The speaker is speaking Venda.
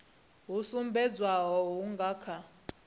ho sumbedzwaho hu nga kha